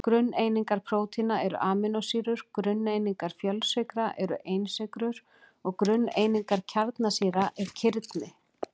Grunneiningar prótína eru amínósýrur, grunneiningar fjölsykra eru einsykrur og grunneiningar kjarnasýra eru kirni.